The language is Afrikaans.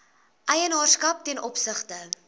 eienaarskap ten opsigte